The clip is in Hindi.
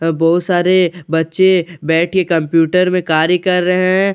अ बहुत सारे बच्चे बैठ के कम्प्यूटर में कार्य कर रहे हैं।